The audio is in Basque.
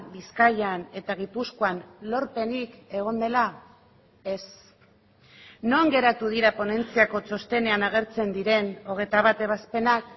bizkaian eta gipuzkoan lorpenik egon dela ez non geratu dira ponentziako txostenean agertzen diren hogeita bat ebazpenak